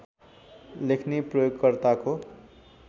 लेख्ने प्रयोगकर्ताको